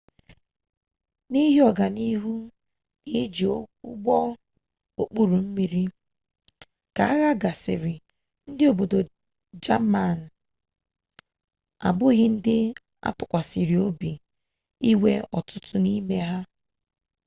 n'ihi ọga n'ihu ha n'iji ụgbọ okpuru mmiri ka agha gasịrị ndị obodo jamani abụghị ndị atụkwasịrị obi inwe ọtụtụ n'ime ha